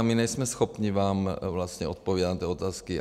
A my nejsme schopni vám vlastně odpovědět na ty otázky.